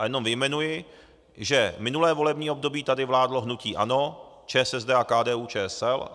A jenom vyjmenuji, že minulé volební období tady vládlo hnutí ANO, ČSSD a KDU-ČSL.